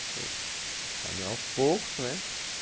Você também aos poucos, né?